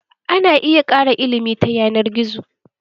Ana iya ƙara ilimi ta yanar gizo.